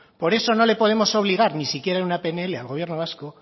por eso no le podemos obligar ni siquiera en una pnl al gobierno vasco